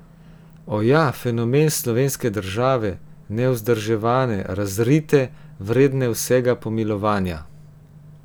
Oja, fenomen slovenske države, nevzdrževane, razrite, vredne vsega pomilovanja.